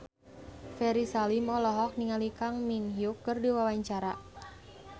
Ferry Salim olohok ningali Kang Min Hyuk keur diwawancara